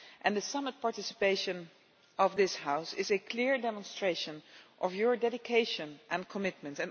The summit participation of this House is a clear demonstration of your dedication and commitment.